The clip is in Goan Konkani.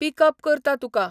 पिकअप करतां तुका.